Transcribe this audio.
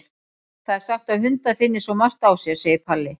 Það er sagt að hundar finni svo margt á sér, segir Palli.